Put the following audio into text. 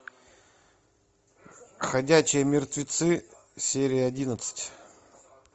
ходячие мертвецы серия одиннадцать